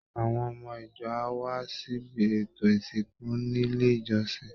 Àwọn ọmọ ìjọ á wá síbi ètò ìsìnkú nílé ìjọsìn